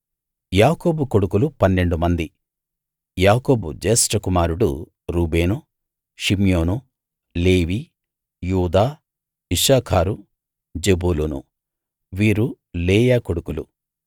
యాకోబు కొడుకులు పన్నెండు మంది యాకోబు జ్యేష్ఠకుమారుడు రూబేను షిమ్యోను లేవి యూదా ఇశ్శాఖారు జెబూలూను వీరు లేయా కొడుకులు